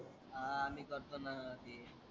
आह मी करतो ना ते.